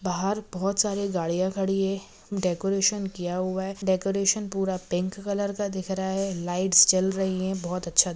लोग आ रहे बाहर बहुत सारे गड़िया खड़ी है डेकोरेशन किया हुआ है डेकोरेशन पूरा पिंक कलर का दिख रहा हैं लाइट्स जल रही है बहुत अच्छा--